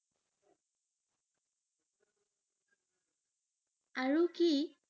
আৰু কি?